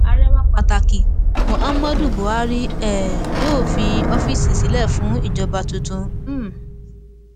ààrẹ wa pàtàkì muhammadu buhari um yóò fi ọfíìsì sílẹ fún ìjọba tuntun um